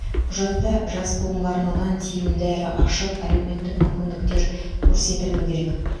құжатта жас буынға арналған тиімді әрі ашық әлеуметтік мүмкіндіктер көрсетілуі керек